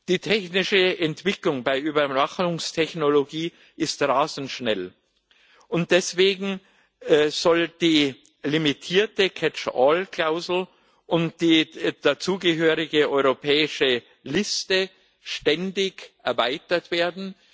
Die technische Entwicklung bei Überwachungstechnologie ist rasend schnell, und deswegen sollen die limitierte Catch all Klausel und die dazugehörige europäische Liste ständig erweitert werden.